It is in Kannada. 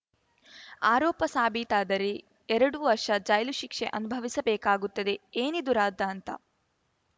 ಆರೋಪ ಸಾಬೀತಾದರೆ ಎರಡು ವರ್ಷ ಜೈಲು ಶಿಕ್ಷೆ ಅನುಭವಿಸಬೇಕಾಗುತ್ತದೆ ಏನಿದು ರಾದ್ಧಾಂತ